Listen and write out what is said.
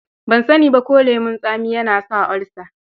Ban sani ba ko lemon tsami yana sa olsa.